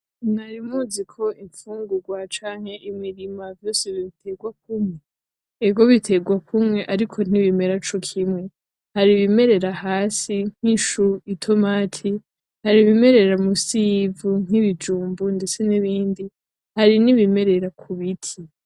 Mwari muzi ko imfungurwa canke imirima vyose biterwa kumwe? Ego biterwa kumwe ariko ntibimera cokimwe. Hari ibimerera hasi nk'ishu, itomati. Hari ibimerera munsi yivu nk'ibijumbu ndetse nibindi. Hari nibimerera ku biti.